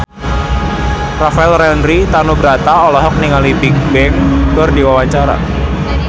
Rafael Landry Tanubrata olohok ningali Bigbang keur diwawancara